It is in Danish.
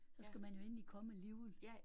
Så skal man jo endelig komme alligevel